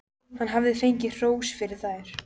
Hann hafði fengið hrós fyrir þær.